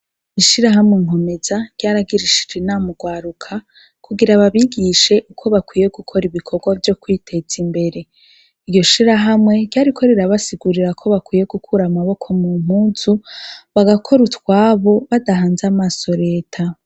Ishirahamwe NKOMEZA ryaragirishije inama ugwaruka kugira babigishe ko bakwiye gukora ibikorwa vyokwitez'imbere. Iryoshirahamwe ryariko rirabasigurira ko bakwiye gukura amaboko mumpuzu bagakora utwabo badahanze amaso reta.